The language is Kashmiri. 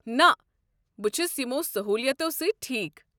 نہ۔ بہٕ چھُس یِمَو سٔہوٗلِیَتو سۭتۍ ٹھیٖکھ۔